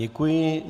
Děkuji.